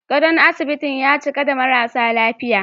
Gadon asibitin ya cika da marasa lafiya